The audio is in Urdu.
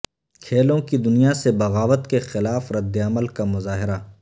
کھیلوں کی دنیا سے بغاوت کے خلاف رد عمل کا مظاہرہ